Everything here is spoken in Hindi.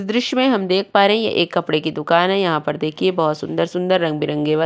दृश्य में हम देख पा रहे हैं ये एक कपड़े की दुकान है। यहां पर देखिए बहुत सुंदर सुंदर रंग बिरंगे व --